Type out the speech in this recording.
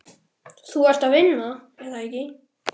Þú ert að vinna, er það ekki?